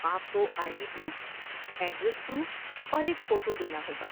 آپ کو I D proof, address proof اور ایک فوٹو دینا ہوگا۔